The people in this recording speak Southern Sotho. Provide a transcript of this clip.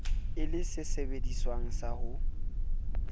e le sesebediswa sa ho